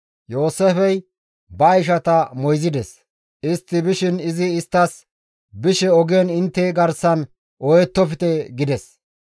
Yooseefey ba ishata moyzides. Istti bishin izi isttas, «Bishe ogen intte garsan ooyettofte» gides.